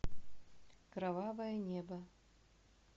кровавое небо